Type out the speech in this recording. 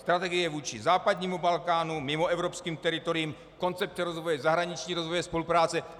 Strategie vůči západnímu Balkánu, mimoevropským teritoriím, koncepci rozvoje zahraniční rozvojové spolupráce.